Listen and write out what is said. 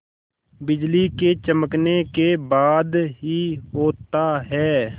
बिजली के चमकने के बाद ही होता है